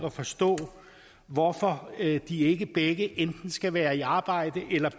at forstå hvorfor de ikke begge enten skal være i arbejde eller